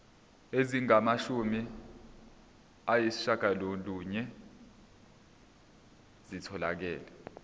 ezingamashumi ayishiyagalolunye zitholakele